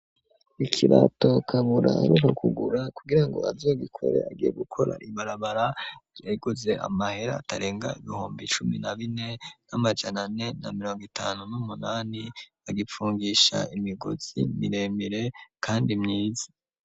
Ikibato kabura romu kugura kugira ngo azogikore agiye gukora ibarabara ryayiguze amahera atarenga ibihumbi cumi na bine n'amajanane na mirongo itanu n'umunani agipfungisha imigozi miremire, kandi myiza.